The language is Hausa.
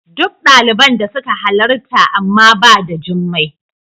Duk daliban da suka halarta amma ba da Jummai.